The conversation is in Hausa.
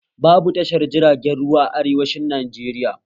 Babu tashar jiragen ruwa a arewacin Najeriya